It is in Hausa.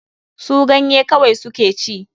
Su ganye kawai su ke ci.